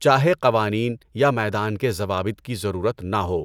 چاہے قوانین یا میدان کے ضوابط کی ضرورت نہ ہو۔